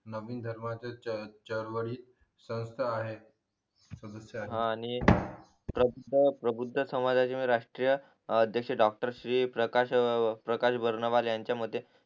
नवीन धर्माचे च चार्वरित संसथा आहे हा आणि प्रत्येक बौद्ध समाजाची राष्ट्रीय अध्येक्ष डॉक्टर श्री प्रकाश प्रकाश बर्नवाल याच्या मते